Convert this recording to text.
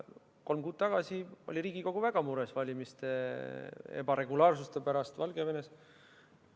Kolm kuud tagasi oli Riigikogu väga mures valimiste irregulaarsuste pärast Valgevenes.